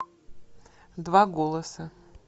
два голоса